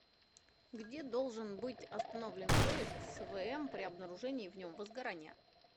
где должен быть остановлен поезд с вм при обнаружении в нем возгорания